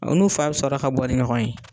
U n'u fa bɛ sɔrɔ ka bɔ ni ɲɔgɔn ye.